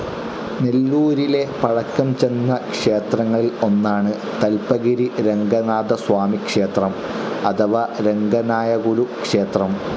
നെല്ലൂരിലെ പഴക്കം ചെന്ന ക്ഷേത്രങ്ങളിൽ ഒന്നാണ് തൽപഗിരി രംഗനാഥസ്വാമി ക്ഷേത്രം അഥവാ രംഗനായകുലു ക്ഷേത്രം.